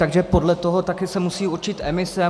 Takže podle toho se taky musí určit emise.